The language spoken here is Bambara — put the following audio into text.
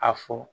A fɔ